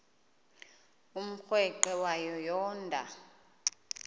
umrweqe wayo yoonda